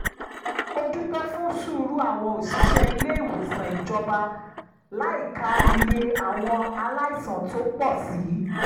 ó dúpẹ́ fún sùúrù àwọn òṣìṣẹ́ ilé-ìwòsàn ìjọba láìka iye àwọn aláìsàn tó pọ̀ tó sí